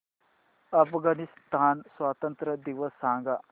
अफगाणिस्तान स्वातंत्र्य दिवस सांगा